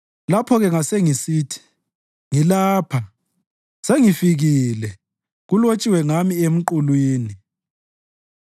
Lapho-ke ngasengisithi, “Ngilapha, sengifikile kulotshiwe ngami emqulwini.